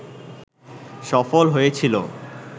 সফল হয়েছিল